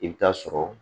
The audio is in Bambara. I bɛ taa sɔrɔ